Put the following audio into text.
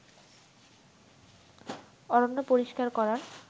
অরণ্য পরিষ্কার করার